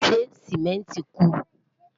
ṣé simẹnti ku?